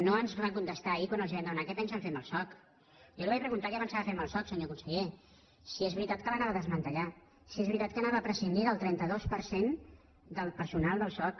no ens van contestar ahir quan els vam demanar què pensen fer amb el soc jo li vaig preguntar què pensava fer amb el soc senyor conseller si és veritat que el desmantellaria si és veritat que prescindiria del trenta dos per cent del personal del soc